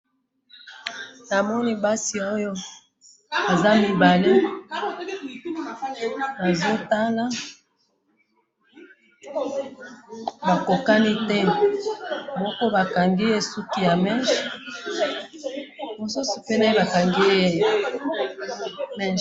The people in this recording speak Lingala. na moni basi oyo baza mibale bazo ata bakokani te moko ba kangiye suki ya meche na mosusu ba kangiye meche